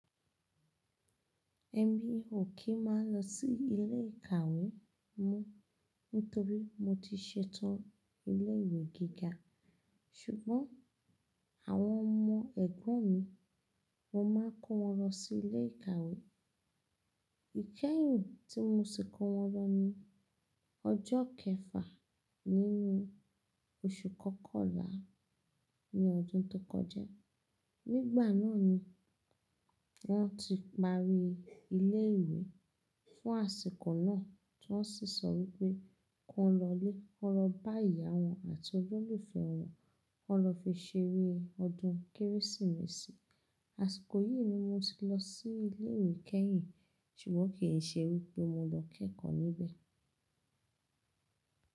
Ẹ̀mí ò kí má lọ sí ilé ìkàwé mó nítorí mo ti ṣetán ilé ìwé gíga ṣùgbọ́n àwọn ọmọ ẹ̀gbọ́n mi mo máa kó wọn lọ sí ilé ìkàwé. Ìkẹ́yìn tí mo si kó wọn lọ ni ọjọ́ kẹfà nínú oṣù kọkànlá ní ọdún tó kọjá. Nígbà náà ni wọ́n ti parí ilé ìwé fún àsìkò náà tí wọ́n sì sọ wípé kí wọn lọlé, kí won lọ bá ìyá wọn àti olólùfẹ́ wọn, kí won lọ fi ṣeré ọdún Kérésìmesì. Àsìkò yìí ni mo ti lọ sí ilé ìwé kẹ́yìn ṣùgbọ́n kì í ṣe wípé mo lọ kẹ́kọ̀ọ́ níbẹ̀.